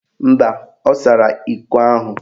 Mba, ọ sara iko ahụ